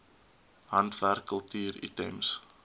handwerk kultuur items